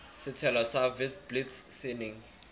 setshelo sa witblits se neng